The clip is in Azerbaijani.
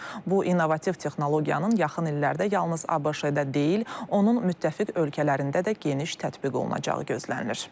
Bu innovativ texnologiyanın yaxın illərdə yalnız ABŞ-də deyil, onun müttəfiq ölkələrində də geniş tətbiq olunacağı gözlənilir.